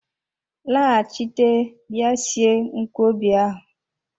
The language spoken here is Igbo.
Laghachite bịa sie nkwobi ahu!